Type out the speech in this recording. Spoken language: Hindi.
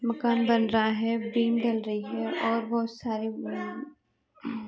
मकान बन रहा है। बीम डल रही है और बहुत सारे म --